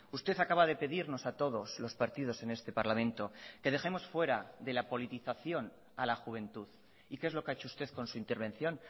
usted acaba de pedirnos a todos los partidos en este parlamento que dejemos fuera de la politización a la juventud y qué es lo que ha hecho usted con su intervención